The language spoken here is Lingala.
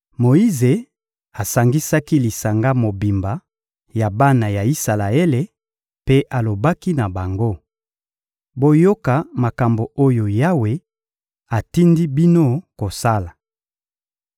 Moyize asangisaki lisanga mobimba ya bana ya Isalaele mpe alobaki na bango: «Boyoka makambo oyo Yawe atindi bino kosala: